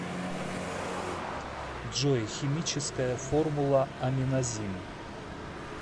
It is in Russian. джой химическая формула аминазин